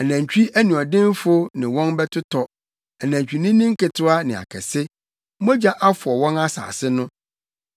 Anantwi anuɔdenfo ne wɔn bɛtotɔ, anantwinini nketewa ne akɛse. Mogya afɔw wɔn asase no, na srade ayɛ so dɔte no sɔkyee.